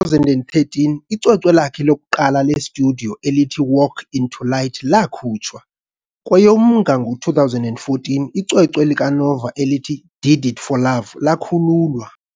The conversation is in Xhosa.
2013, icwecwe lakhe lokuqala lestudiyo elithi Walk Into Light lakhutshwa. . Kwe'EyomNnga ngo 2014, icwecwe likaNova elithi Did It For Love lakhululwa.